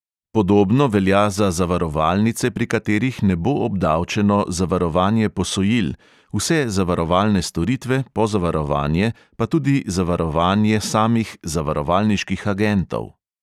Podobno velja za zavarovalnice, pri katerih ne bo obdavčeno zavarovanje posojil, vse zavarovalne storitve, pozavarovanje pa tudi zavarovanje samih zavarovalniških agentov.